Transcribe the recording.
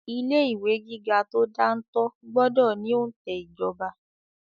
Ilé ìwé gíga tó dáńtọ́ gbọ́dọ̀ ní òǹtẹ̀ ìjọba.